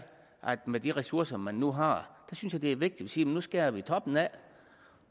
med de ressourcer man nu har det er vigtigt at sige nu skærer vi toppen af